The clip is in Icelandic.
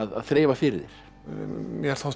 þreifa fyrir þér mér þótti